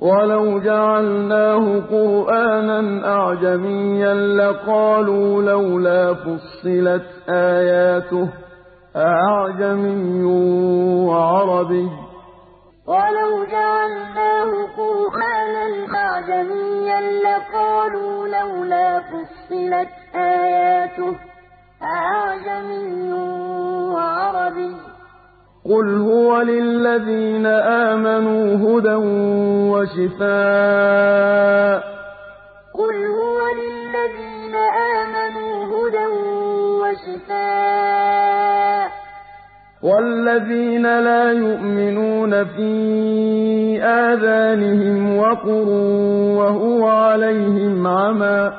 وَلَوْ جَعَلْنَاهُ قُرْآنًا أَعْجَمِيًّا لَّقَالُوا لَوْلَا فُصِّلَتْ آيَاتُهُ ۖ أَأَعْجَمِيٌّ وَعَرَبِيٌّ ۗ قُلْ هُوَ لِلَّذِينَ آمَنُوا هُدًى وَشِفَاءٌ ۖ وَالَّذِينَ لَا يُؤْمِنُونَ فِي آذَانِهِمْ وَقْرٌ وَهُوَ عَلَيْهِمْ عَمًى ۚ